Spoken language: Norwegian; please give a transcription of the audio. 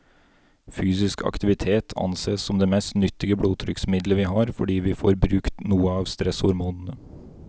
Fysisk aktivitet ansees som det mest nyttige blodtrykksmiddelet vi har, fordi vi får brukt noe av stresshormonene.